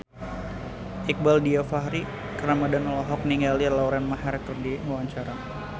Iqbaal Dhiafakhri Ramadhan olohok ningali Lauren Maher keur diwawancara